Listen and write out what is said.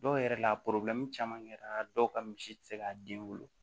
Dɔw yɛrɛ la caman kɛra dɔw ka misi tɛ se k'a den wolo